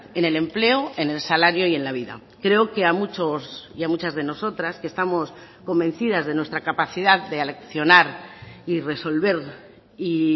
en el empleo en el salario y en la vida creo que a muchos y a muchas de nosotras que estamos convencidas de nuestra capacidad de aleccionar y resolver y